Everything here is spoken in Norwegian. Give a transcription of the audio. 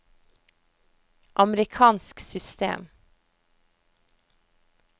amerikansk system